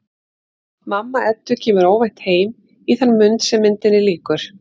Mamma Eddu kemur óvænt heim í þann mund sem myndinni lýkur.